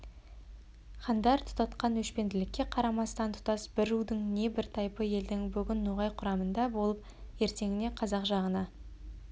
хандар тұтатқан өшпенділікке қарамастан тұтас бір рудың не бір тайпы елдің бүгін ноғай құрамында болып ертеңіне қазақ жағына